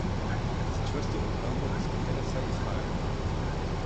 S čvrsto obrambo, iz katere vse izhaja.